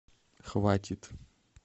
хватит